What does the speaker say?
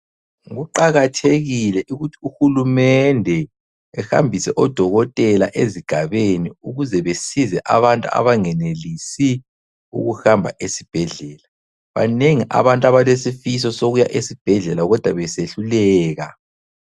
Kuqakathekile ukuthi uhulumende ehambise odokotela ezigabeni ukuze besize abantu abangenelisi ukuhamba ezibhedlela. Banengi abantu abalesifiso sokuya esibhedlela kodwa besehluleka.